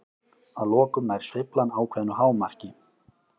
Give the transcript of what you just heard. Að lokum nær sveiflan ákveðnu hámarki.